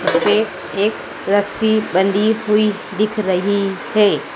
ये एक रस्सी बंधी हुई दिख रही है।